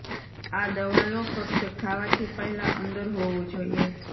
આ દવા લો ફક્ત ખાવાથી પહેલાં અંદર હોવું જોઇએ